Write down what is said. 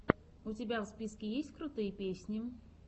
у тебя в списке есть крутые песни